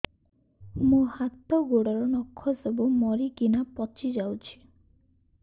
ମୋ ହାତ ଗୋଡର ନଖ ସବୁ ମରିକିନା ପଚି ଯାଉଛି